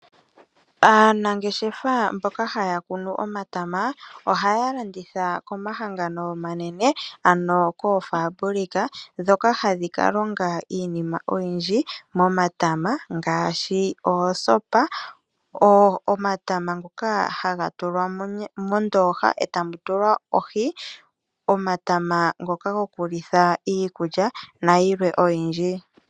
Aanangeshefa mboka haya kunu omatama ohaya landitha komahangano omanene ano koofabulika ndhoka hadhi ka longa iinima oyindji momatama. Iinima ngaashi oosopa, omatama ngoka haga tulwa mondooha etamu tulwa ohi, omatama gokulitha iikulya na yilwe oyindji.